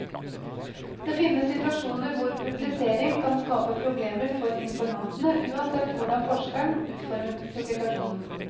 Det finnes situasjoner hvor publisering kan skape problemer for informantene uansett hvordan forskeren utformer publikasjonen.